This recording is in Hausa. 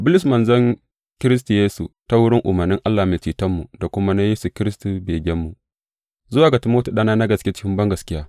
Bulus, manzon Kiristi Yesu ta wurin umarnin Allah Mai Cetonmu da kuma na Yesu Kiristi begenmu, Zuwa ga Timoti ɗana na gaske cikin bangaskiya.